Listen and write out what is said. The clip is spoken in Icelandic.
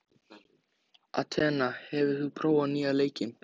Atena, hefur þú prófað nýja leikinn?